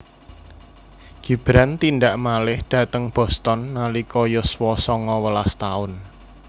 Gibran tindak malih dhateng Boston nalika yuswa sanga welas taun